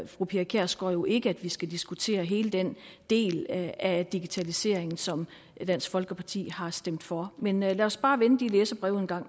fru pia kjærsgaard jo ikke at vi skal diskutere hele den del af digitaliseringen som dansk folkeparti har stemt for men lad os bare vende de læserbreve en gang